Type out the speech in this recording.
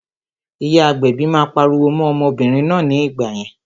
Ìyá agbẹ̀bi náà pariwo mọ́n obìnrin náà ní ìgbà yẹn